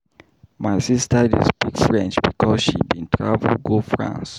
My sista dey speak French because she bin travel go France.